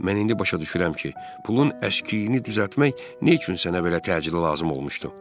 Mən indi başa düşürəm ki, pulun əskiliyini düzəltmək nə üçün sənə belə təcili lazım olmuşdu.